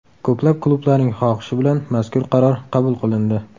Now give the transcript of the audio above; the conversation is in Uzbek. Ko‘plab klublarning xohishi bilan mazkur qaror qabul qilindi.